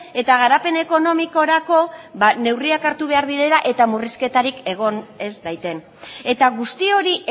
eta garapen ekonomikorako neurriak hartu behar direla eta murrizketarik egon ez daiten eta guzti hori